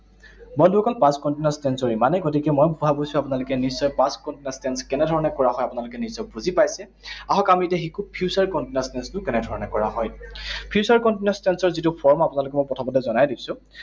বন্ধুসকল, past continuous tense ৰ ইমানেই। গতিকে মই ভাবিছো আপোনালোকে নিশ্চয় past continuous tense কেনে ধৰণে কৰা হয়, আপোনালোকে নিশ্চয় বুলি পাইছে। আহক আমি এতিয়া শিকোঁ, future continuous tense টো কেনেধৰণে কৰা হয়। Future continuous tense ৰ যিটো form আপোনালোকক মই প্ৰথমতে জনাই দিছো।